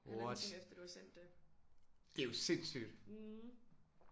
What! Det er jo sindssygt